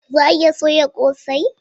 Za a iya soya kose?